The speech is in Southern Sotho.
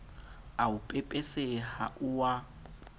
o a pepeseha o a